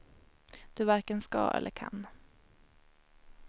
Du varken ska eller kan.